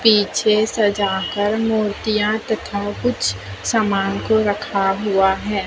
पीछे सजा कर मूर्तिया तथा कुछ सामान को रखा हुआ है।